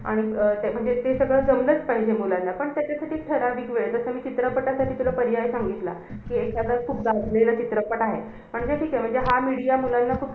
आणि ते अं ते सगळं जमलंचं पाहिजे बोलायला. पण त्याच्यासाठी ठराविक वेळ जसं मी चित्रपटासाठी तुला पर्याय सांगितला. कि एखादा खूप गाजलेला चित्रपट आहे. म्हणजे ठीके! हा media मुलांना खूप